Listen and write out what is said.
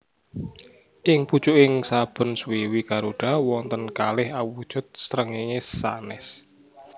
Ing pucuking saben swiwi garuda wonten kalih awujud srengéngé sanès